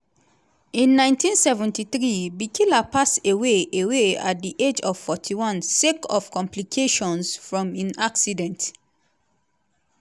in 1973 bikila pass away away at di age of 41 sake of complications from im accident.